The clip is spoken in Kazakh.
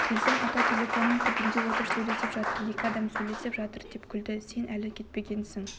келсем ата телефонның түбінде отыр сөйлеп жатыр екі адам сөйлесіп жатыр деп күлді сен әлі кетпегенсің